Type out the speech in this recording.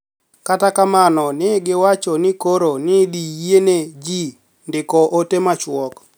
Kata kamano, ni e giwacho nii koro ni e idhi yieni e ji nidiko ote machuok.